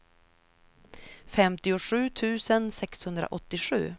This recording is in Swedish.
femtiosju tusen sexhundraåttiosju